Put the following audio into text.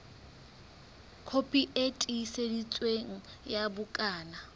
kopi e tiiseditsweng ya bukana